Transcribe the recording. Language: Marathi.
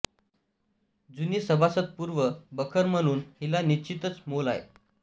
जुनी सभासदपूर्व बखर म्हणून हिला निश्चितच मोल आहे